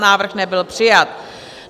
Návrh nebyl přijat.